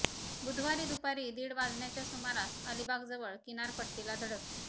बुधवारी दुपारी दीड वाजण्याच्या सुमारास अलिबाग जवळ किनारपट्टीला धडकले